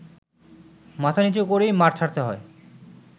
মাথা নীচু করেই মাঠ ছাড়তে হয়